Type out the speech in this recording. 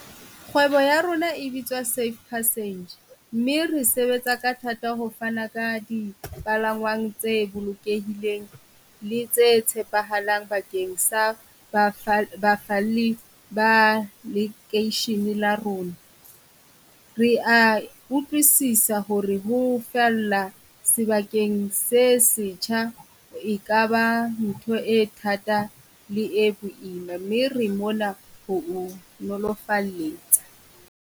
Kgwebo ya rona e bitswa Safe Passage mme re sebetsa ka thata ho fana ka di palangwang tse bolokehileng, le tse tshepahalang bakeng sa bakgalli ba lekeisheneng la rona. Re a utlwisisa ho re ho falla sebakeng se setjha e ka ba ntho e thata le e boima, mme re mona ho o nolofalletsa.